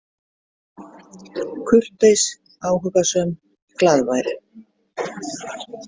Kurteis, áhugasöm, glaðvær.